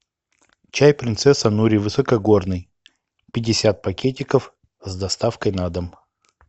чай принцесса нури высокогорный пятьдесят пакетиков с доставкой на дом